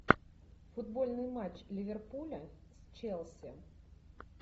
футбольный матч ливерпуля с челси